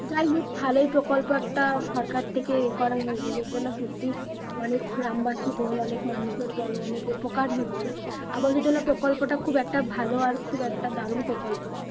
যাইহোক ভালোই প্রকল্প একটা সরকার থেকে ইয়ে করা হয়েছে যার জন্য সত্যিই অনেক গ্রামবাসী বল অনেক মানুষদের বল অনেক উপকার হচ্ছে আবাস যোজনা প্রকল্পটা খুব একটা ভালো আর খুব একটা দারুন প্রকল্প